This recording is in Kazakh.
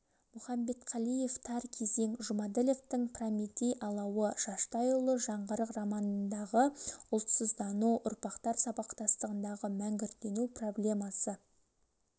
мұхамбетқалиев тар кезең жұмаділовтың прометей алауы шаштайұлы жаңғырық романындағы ұлтсыздану ұрпақтар сабақтастығындағы мәнгүрттену проблемасы